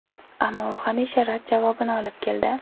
Ammo u hamisha rad javobini olib keldi.